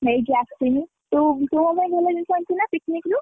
ନେଇକି ଆସିଲୁ, ତୁ, ତୁ ମୋ ପାଇଁ ଭଲ ଜିନିଷ ଆଣିଛୁ ନା picnic ରୁ?